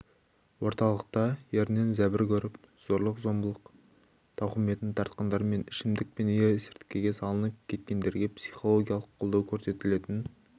орталықта ерінен зәбір көріп зорлық-зомбылық тауқыметін тартқандар мен ішімдік пен есірткіге салынып кеткендерге психологиялық қолдау көрсетілетін